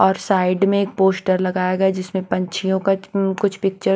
और साइड में एक पोस्टर लगाया गया जिसमें पंछियों क अम् कुछ पिक्चर --